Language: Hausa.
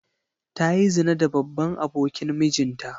Ta yi zina da babban abokin mijinta.